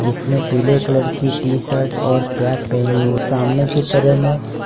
जिसने पीले कलर की टी शर्ट और कैप पहनी हो सामने की तरह में औ --